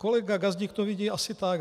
Kolega Gazdík to vidí asi tak.